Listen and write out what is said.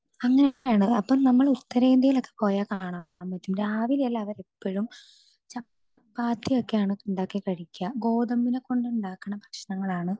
speaker 2 അങ്ങനെയൊക്കെയാണ് അപ്പൊ നമ്മൾ ഉത്തരേന്ത്യയിൽ ഒക്കെ പോയ കാണാം നമക്ക് രാവിലെല്ലാം അവര് എപ്പഴും ചപ്പാത്തി ഒക്കെ ആണ് ഇണ്ടാക്കി കഴിക്ക ഗോതമ്പിനെ കൊണ്ട് ഉണ്ടാക്കണ ഭക്ഷണങ്ങളാണ്